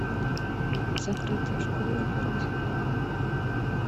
закрытая школа первый сезон